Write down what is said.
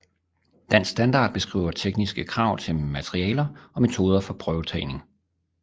Dansk Standard beskriver tekniske krav til materialer og metoder for prøvetagning